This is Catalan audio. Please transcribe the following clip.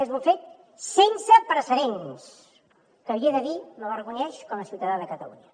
és un fet sense precedents que l’hi he de dir m’avergonyeix com a ciutadà de catalunya